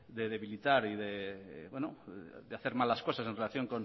de debilitar y de hacer mal las cosas en relación